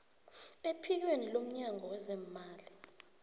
ephikweni lomnyango wezeemali